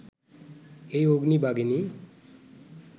এই অগ্নি-বাগিনী